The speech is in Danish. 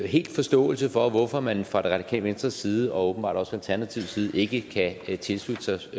helt forståelse for hvorfor man fra det radikale venstres side og åbenbart også fra alternativets side ikke kan tilslutte sig